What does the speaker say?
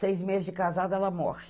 Seis meses de casada, ela morre.